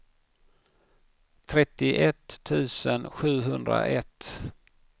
trettioett tusen sjuhundraett